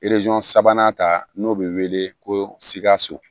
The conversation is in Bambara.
sabanan ta n'o be wele ko sikasso